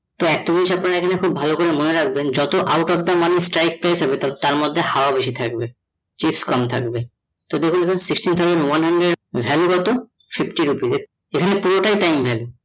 তো একটা জিনিস আপনারা এখানে খুব ভালো করে মনে রাখবেন যত out of the money strike price হবে তার মধ্যে হাওয়া বেশি থাকবে, chips কম থাকবে তো দেখুন এখানে sixteen thousand one hundred এর value কত? fifty rupees এখানে পুরোটাই time value